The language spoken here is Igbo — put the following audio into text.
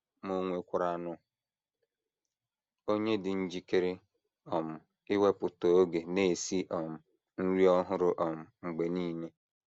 Ma ò nwekwaranụ onye dị njikere um iwepụta oge na - esi um nri ọhụrụ um mgbe nile?